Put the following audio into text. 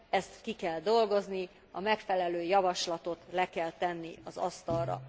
Ezt ki kell dolgozni, a megfelelő javaslatot le kell tenni az asztalra.